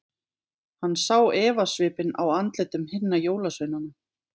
Hann sá efasvipinn á andlitum hinna jólasveinana.